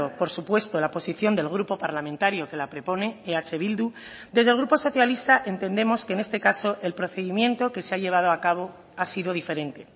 por supuesto la posición del grupo parlamentario que la propone eh bildu desde el grupo socialista entendemos que en este caso el procedimiento que se ha llevado a cabo ha sido diferente